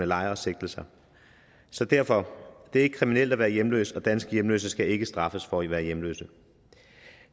lejre og sigtelser så derfor det er ikke kriminelt at være hjemløs og danske hjemløse skal ikke straffes for at være hjemløse